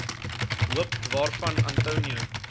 hoop waarvan antonio